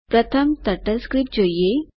પ્રથમ ટર્ટલસ્ક્રિપ્ટ જોઈએ